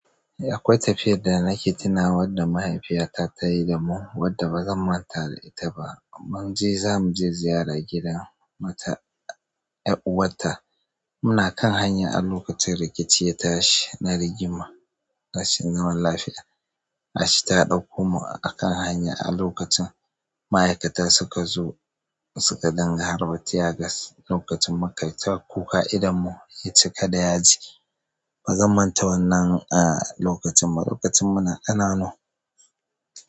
Eh, akwai tafiyadda nake tuna wadda mahaifiyata ta yi damu wadda ba zan manta da ita ba. Munje zamuje ziyara gidan mata ya'uwatta. Muna kan hanya a lokacin rikici ya tashi. Na rigima, rashin zaman lafiya. Ashi ta ɗakko mu a kan hanya a lokacin ma'aikata suka zo suka dinga harba tiyas lokacin maƙaita kuka idanmu ya cika da yaji. Bazan manta wannan a lokacin ba. Lokacin muna ƙananu.